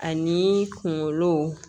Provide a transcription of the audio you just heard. Ani kunkolo